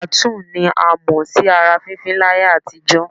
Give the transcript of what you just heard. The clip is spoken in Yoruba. Tàtúù ni a mọ̀ sí ara fífín láyé àtijọ́